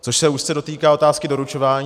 Což se úzce dotýká otázky doručování.